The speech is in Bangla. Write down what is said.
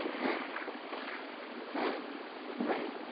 হ্যাঁ, হ্যাঁ, bye ।